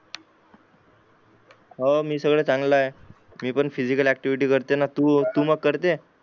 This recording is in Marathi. हो मी सगळं चांगला आहे मी पण फीझिकल ऍक्टिव्हिटी करते ना तू करते